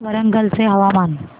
वरंगल चे हवामान